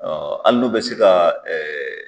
Ɔ ali n'u be se ka ɛɛ